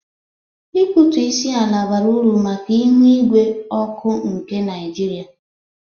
Ịkpụtụ isi ala bara uru maka ihu ígwé ọkụ nke Naịjirịa.